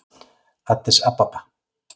Addis Ababa